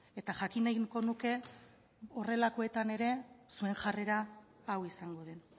eta jakin nahiko nuke horrelakoetan ere zuen jarrera hau izango den